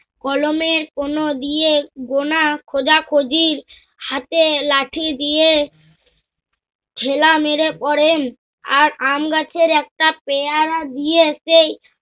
কলমের কোন দিয়ে গোনা খোজা-খোঁজির হাতে লাঠি দিয়ে হেলা মেরে করেন। আর আমগাছের একটা পেয়ারা দিয়ে সেই